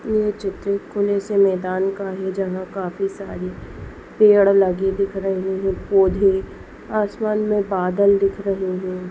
येह चित्र खुले से मेदान का है। जहा काफी सारी पेड़ लगी दिख रही है। पौधे आसमान मे बादल दिख रहे है।